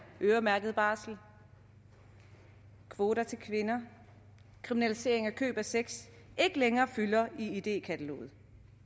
øremærket barsel kvoter til kvinder kriminalisering af køb af sex ikke længere fylder i idékataloget